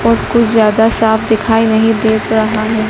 और कुछ ज्यादा साफ दिखाई नहीं दे रहा है।